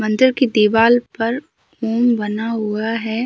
मंदिर की दीवाल पर उम बना हुआ है।